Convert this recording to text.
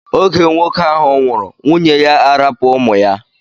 Oge nwoke ahụ nwụrụ nwunye ya arapu ụmụ ya.